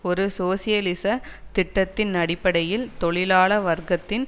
ஒரு சோசியலிச திட்டத்தின் அடிப்படையில் தொழிலாள வர்க்கத்தின்